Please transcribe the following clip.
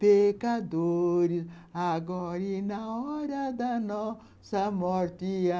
pecadores, agora e na hora da nossa morte, amém.